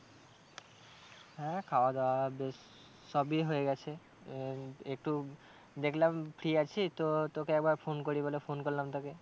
হ্যাঁ খাওয়া দাওয়া বেশ সবই হয়ে গেছে আহ একটু দেখলাম free আছি তো তোকে একবার phone করি বলে phone করলাম তোকে।